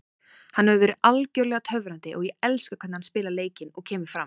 Hann hefur verið algjörlega töfrandi og ég elska hvernig hann spilar leikinn og kemur fram.